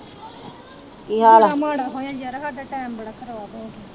ਕਿੰਨਾ ਮਾੜਾ ਹੋਇਆ ਯਾਰ ਸਾਡਾ ਟੈਮ ਬੜਾ ਖਰਾਬ ਹੋਗਿਆ